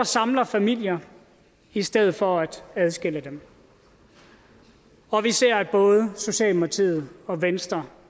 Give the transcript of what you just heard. samler familier i stedet for at adskille dem og vi ser at både socialdemokratiet og venstre